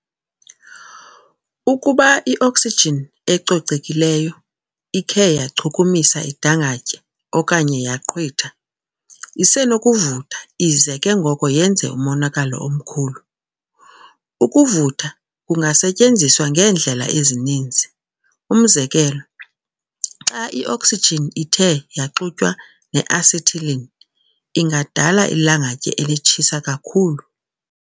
Ukuba i-oxygen ecocekileyo ikhe yachukumisa idangatye okanye yaqhwitha, isenokuvutha ize ke ngoko yenze umonakalo omkhulu. Ukuvutha kungasetyenziswa ngeendlela ezininzi. umzekelo, xa i-oxygen ithe yaxutywa ne-acetylene, ingadala ilangatye elitshisa kakhulu.